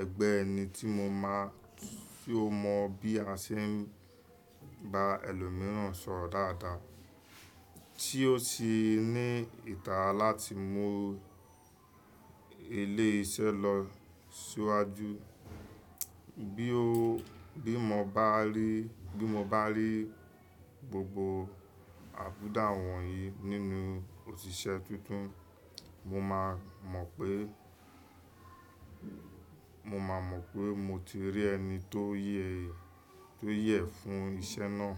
ẹgbẹ́ ẹni tí mo máa, tí ó mọ bí a ṣe ń bá ẹlòmíràn sọ̀rọ̀ dáadáa. Tí ó sì ní ìtara láti mú ilé iṣẹ́ lọ síwájú. Bí ó, bí mo bá rí, bí mo bá rí gbogbo àbùdá wọ̀nyí nínú òṣìṣẹ́ tuntun, mo máa mọ̀ pé, mo máa mọ̀ pé mo ti rí ẹni tó yẹ, tó yẹ fún iṣẹ́ náà.